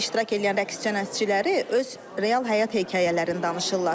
İştirak eləyən rəqs sənətçiləri öz real həyat hekayələrini danışırlar.